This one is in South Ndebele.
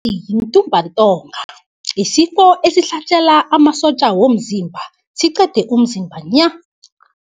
yintumbantonga, yisifo esihlasela amasotja womzimba, siqede umzimba nya.